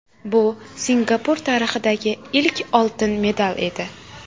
Bu Singapur tarixidagi ilk oltin medal edi.